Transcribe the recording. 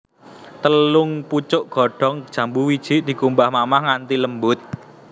Telung pucuk godhong jambu wiji dikumbah mamah nganthi lembut